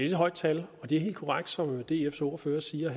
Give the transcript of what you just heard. et højt tal det er helt korrekt som dfs ordfører siger